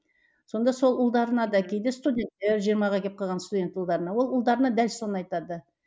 сонда сол ұлдарына да кейде студенттер жиырмаға келіп қалған студент ұлдарына ол ұлдарына дәл соны айтады